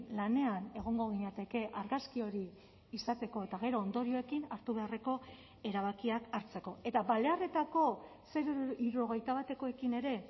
lanean egongo ginateke argazki hori izateko eta gero ondorioekin hartu beharreko erabakiak hartzeko eta balearretako hirurogeita batekoekin ere